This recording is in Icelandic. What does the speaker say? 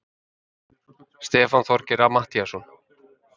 Stefán Þorgeir Matthíasson!